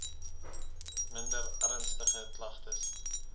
minder ernstige klagtes